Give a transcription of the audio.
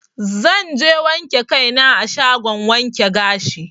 Zanje wanke kai na a shagon wanke gashi.